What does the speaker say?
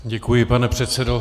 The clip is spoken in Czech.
Děkuji, pane předsedo.